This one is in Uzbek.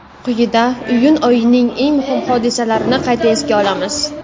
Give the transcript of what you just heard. Quyida iyun oyining eng muhim hodisalarini qayta esga olamiz.